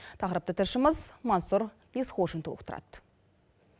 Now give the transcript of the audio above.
тақырыпты тілшіміз мансұр есқожин толықтырады